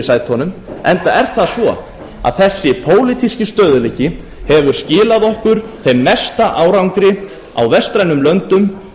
sætunum enda er það svo að þessi pólitíski stöðugleiki hefur skilað okkur þeim mesta árangri á vestrænum löndum